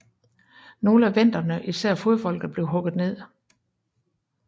Nogle af venderne især fodfolket blev hugget ned